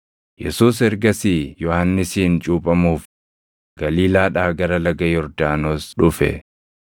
Yesuus ergasii Yohannisiin cuuphamuuf Galiilaadhaa gara Laga Yordaanos dhufe.